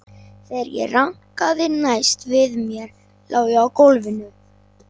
Þegar ég rankaði næst við mér lá ég á gólfinu.